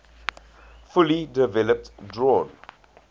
fully developed drawn